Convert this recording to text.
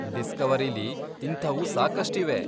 ಡಿಸ್ಕವರಿಲಿ ಇಂಥವೂ ಸಾಕಷ್ಟಿವೆ.